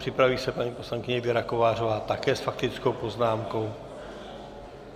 Připraví se paní poslankyně Věra Kovářová, také s faktickou poznámkou.